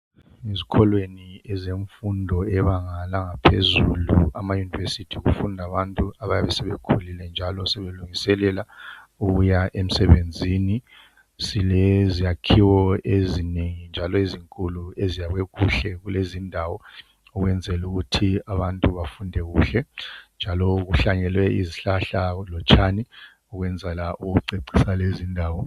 Ezikholweni ezemfundo eyebanga langaphezulu amayunivesiti kufunda abantu abayabe sebekhulile njalo sebelungiselela ukuya emsebenzini. Sile zakhiwo ezinengi njalo ezinkulu eziyakhwe kuhle kulezi indawo ukwenzela ukuthi abantu bafunde kuhle njalo kuhlanyelwe izihlahla lotshani ukwenzela ukucecisa lezindawo.